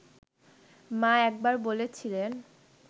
মা একবার বলেছিলেন